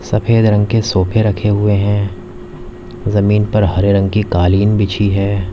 सफेद रंग के सोफे रखे हुए हैं जमीन पर हरे रंग की कालीन बिछी है।